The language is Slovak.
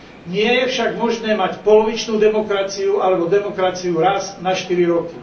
Nie je však možné mať polovičnú demokraciu alebo demokraciu raz na štyri roky.